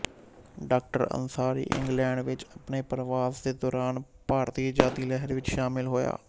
ਡਾ ਅੰਸਾਰੀ ਇੰਗਲੈਂਡ ਵਿੱਚ ਆਪਣੇ ਪਰਵਾਸ ਦੇ ਦੌਰਾਨ ਭਾਰਤੀ ਆਜ਼ਾਦੀ ਲਹਿਰ ਵਿੱਚ ਸ਼ਾਮਿਲ ਹੋਇਆ